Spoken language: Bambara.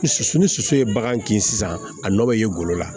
Soso ni soso ye bagan kin sisan a nɔ bɛ ye golo la